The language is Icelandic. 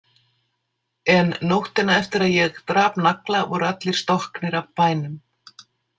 En nóttina eftir að ég drap Nagla voru allir stokknir af bænum.